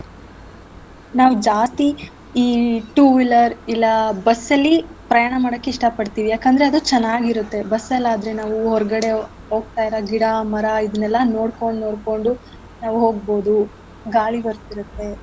ನಾವ್ ಜಾಸ್ತಿ ಈ two wheeler ಇಲ್ಲ bus ಅಲ್ಲಿ ಪ್ರಯಾಣ ಮಾಡಕ್ಕೆ ಇಷ್ಟ ಪಡ್ತಿವಿ ಯಾಕಂದ್ರೆ ಅದು ಚೆನ್ನಾಗಿರತ್ತೆ bus ಅಲ್ ಆದ್ರೆ ನಾವು ಹೊರಗಡೆ ಹೋಗ್ತಾ ಇರೋ ಗಿಡ ಮರ ಇದನ್ನೆಲ್ಲಾ ನೋಡ್ಕೊಂಡ್ ನೋಡ್ಕೊಂಡು ನಾವ್ ಹೋಗ್ಬೋದು ಗಾಳಿ ಬರ್ತಿರತ್ತೆ.